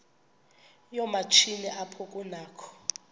yoomatshini apho kunakho